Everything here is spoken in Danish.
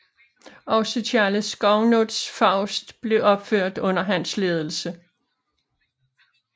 Også Charles Gounods Faust blev opført under hans ledelse